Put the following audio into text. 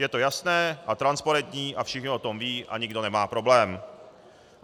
Je to jasné a transparentní a všichni o tom vědí a nikdo nemá problém.